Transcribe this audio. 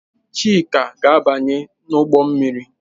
Chika na-abanye n'ụgbọ mmiri.